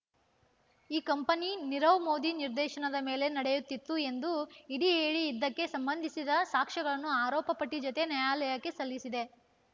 ಈ ಕಂಪನಿ ನೀರವ್ ಮೋದಿ ನಿರ್ದೇಶನದ ಮೇಲೆ ನಡೆಯುತ್ತಿತ್ತು ಎಂದು ಇಡಿ ಹೇಳಿ ಇದಕ್ಕೆ ಸಂಬಂಧಿಸಿದ ಸಾಕ್ಷ್ಯಗಳನ್ನು ಆರೋಪ ಪಟ್ಟಿ ಜತೆ ನ್ಯಾಯಾಲಯಕ್ಕೆ ಸಲ್ಲಿಸಿದೆ